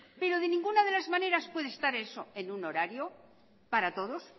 pero de ninguna de las maneras puede estar eso en un horario para todos